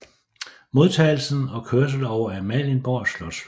Modtagelsen og kørsel over Amalienborg slotsplads